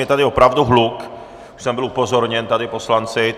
Je tady opravdu hluk, už jsem byl upozorněn tady poslanci.